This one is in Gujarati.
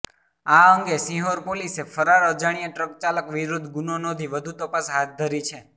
આ અંગે સિહોર પોલીસે ફરાર અજાણ્યા ટ્રકચાલક વિરૃધ્ધ ગુનો નોંધી વધુ તપાસ હાથ ધરી છે